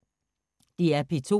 DR P2